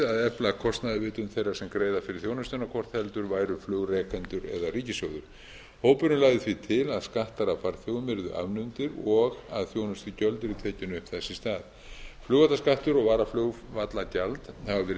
að efla kostnaðarvitund þeirra sem greiða fyrir þjónustuna hvort heldur væru flugrekendur eða ríkissjóður hópurinn lagði því til að skattar af farþegum yrðu afnumdir og að þjónustugjöld yrðu tekin upp þess í stað flugvallaskattur og varaflugvallagjald hafa verið